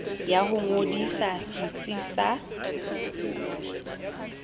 ya ho ngodisa setsi sa